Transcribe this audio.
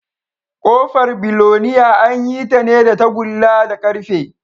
Ƙofar biloniya an yi ta ne da tagulla da ƙarfe